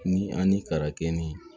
Ni ani karakɛn